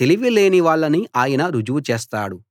తెలివి లేనివాళ్ళని ఆయన రుజువు చేస్తాడు